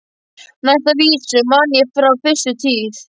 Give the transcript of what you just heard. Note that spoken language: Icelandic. Næstu vísu man ég frá fyrstu tíð.